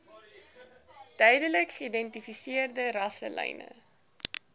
duidelik geïdentifiseerde rasselyne